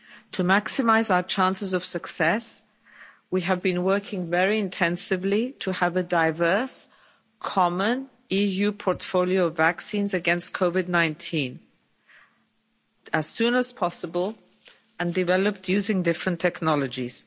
To maximise our chances of success, we have been working very intensively to have a diverse, common EU portfolio of vaccines against COVID-19 as soon as possible and developed using different technologies.